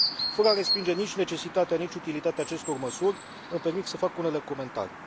Fără a respinge nici necesitatea, nici utilitatea acestor măsuri, îmi permit să fac unele comentarii.